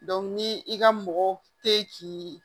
ni i ka mɔgɔ tɛ k'i